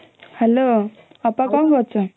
hello ଅପା କଣ କରୁଛ